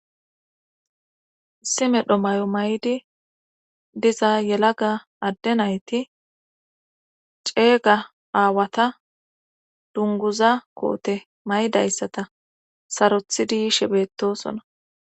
issi medho may7o may7di diza yelaga adde nayti ceega aawata dunguza koote maydayssata sarothidiyishe beettosona